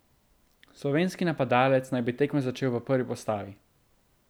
Slovenski napadalec naj bi tekmo začel v prvi postavi.